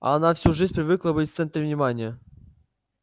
а она всю жизнь привыкла быть в центре внимания